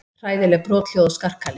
Hræðileg brothljóð og skarkali.